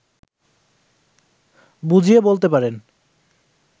বুঝিয়ে বলতে পারেন